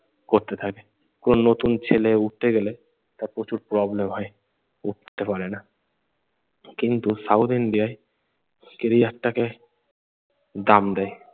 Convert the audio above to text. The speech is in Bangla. করতে থাকে। কোনো নতুন ছেলে উঠতে গেলে তার প্রচুর problem হয়, উঠতে পারে না। কিন্তু সাউথ ইন্ডিয়ায় ক্যারিয়ার টাকে দাম দেয়।